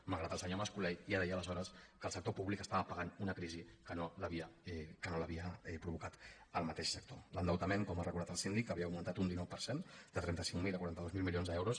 malgrat que el senyor mas colell ja deia aleshores que el sector públic estava pagant una crisi que no l’havia provocat el mateix sector l’endeutament com ha recordat el síndic havia augmentat un dinou per cent de trenta cinc mil a quaranta dos mil milions d’euros